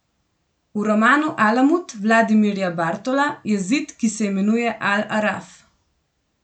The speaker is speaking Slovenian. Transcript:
V romanu Alamut Vladimirja Bartola je zid, ki se imenuje Al Araf.